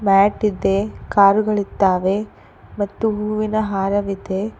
ಮ್ಯಾಟಿದೆ ಕಾರುಗಳಿದ್ದಾವೆ ಮತ್ತು ಹೂವಿನ ಹಾರವಿದೆ.